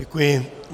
Děkuji.